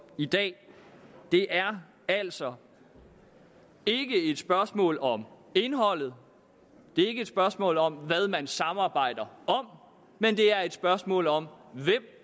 i dag det er altså ikke et spørgsmål om indholdet det er ikke et spørgsmål om hvad man samarbejder om men det er et spørgsmål om hvem